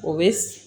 O bɛ